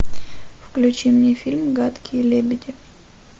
включи мне фильм гадкие лебеди